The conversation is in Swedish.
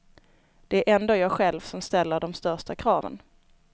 Det är ändå jag själv som ställer de största kraven.